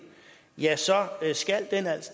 skal